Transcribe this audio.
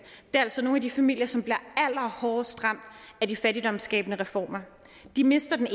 er altså nogle af de familier som bliver allerhårdest ramt af de fattigdomsskabende reformer de mister den